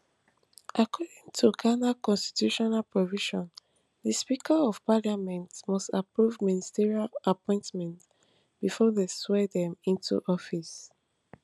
according to ghana constitutional provisions di speaker of parliament must approve ministerial appointments bifor dem swear dem into office